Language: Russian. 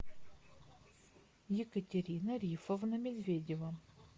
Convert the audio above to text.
екатерина рифовна медведева